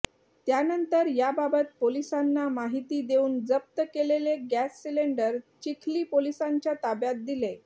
त्यानंतर याबाबत पोलिसांना माहिती देऊन जप्त केलेले गॅस सिलिंडर चिखली पोलिसांच्या ताब्यात दिले